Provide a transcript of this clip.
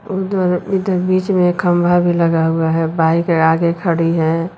इधर बीच में एक खंभा भी लगा हुआ है बाइक आगे खड़ी है।